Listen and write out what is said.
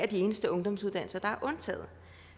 de eneste ungdomssuddannelser der er undtaget